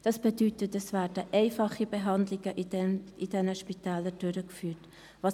Das bedeutet, dass in diesen Spitälern einfache Behandlungen durchgeführt werden.